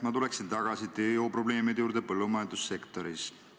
Ma tulen tagasi tööjõuprobleemide juurde põllumajandussektoris.